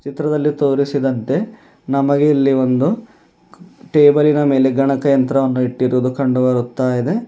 ಚಿತ್ರದಲ್ಲಿ ತೋರಿಸಿದಂತೆ ನಮಗೆ ಇಲ್ಲಿ ಒಂದು ಟೇಬಲ್ ಲಿನ ಮೇಲೆ ಗಣಗಯಂತ್ರ ವನ್ನು ಇಟ್ಟಿರೋದು ಕಂಡು ಬರುತ್ತಾ ಇದೆ.